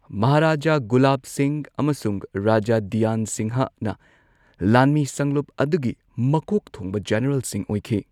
ꯃꯍꯥꯔꯥꯖꯥ ꯒꯨꯂꯥꯕ ꯁꯤꯡꯍ ꯑꯃꯁꯨꯡ ꯔꯥꯖꯥ ꯙꯤꯌꯥꯟ ꯁꯤꯡꯍꯅ ꯂꯥꯟꯃꯤ ꯁꯪꯂꯨꯞ ꯑꯗꯨꯒꯤ ꯃꯀꯣꯛ ꯊꯣꯡꯕ ꯖꯦꯅꯔꯦꯜꯁꯤꯡ ꯑꯣꯏꯈꯤ꯫